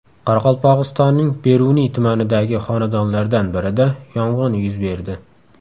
Qoraqalpog‘istonning Beruniy tumanidagi xonadonlardan birida yong‘in yuz berdi.